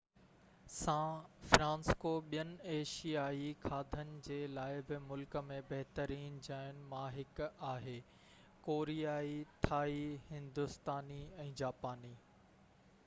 سان فرانسسڪو ٻين ايشيائي کاڌن جي لاءِ بہ ملڪ ۾ بهترين جاين مان هڪ آهي ڪوريائي ٿائي هندوستاني ۽ جاپاني